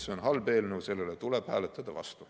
See on halb eelnõu, sellele tuleb hääletada vastu.